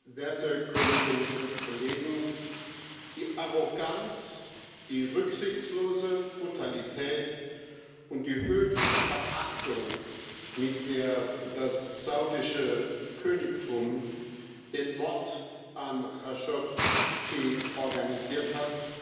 Herr Präsident, werte Kolleginnen und Kollegen! Die Arroganz, die rücksichtslose Brutalität und die höhnische Verachtung, mit der das saudische Königtum den Mord an Khashoggi organisiert hat,